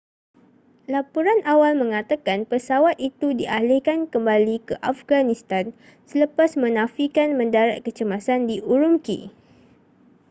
laporan awal mengatakan pesawat itu dialihkan kembali ke afghanistan selepas menafikan mendarat kecemasan di ürümqi